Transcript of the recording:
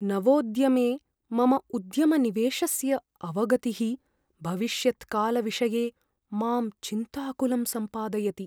नवोद्यमे मम उद्यमनिवेशस्य अवगतिः भविष्यत्कालविषये मां चिन्ताकुलं सम्पादयति।